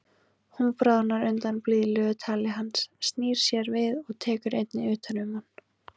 Hún bráðnar undan blíðlegu tali hans, snýr sér við og tekur einnig utan um hann.